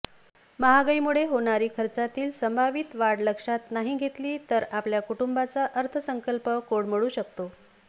महागाईमुळे होणारी खर्चातील संभावित वाढ लक्षात नाही घेतली तर आपल्या कुटुंबाचा अर्थसंकल्प कोलमडू शकतो